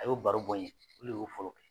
A y'o baro bɔ n ye , olu le y'o fɔlɔ kɛ.